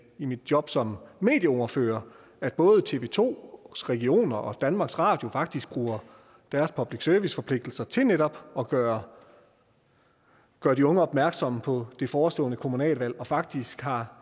i mit job som medieordfører at både tv to regionerne og danmarks radio faktisk bruger deres public service forpligtelser til netop at gøre gøre de unge opmærksomme på det forestående kommunalvalg og faktisk har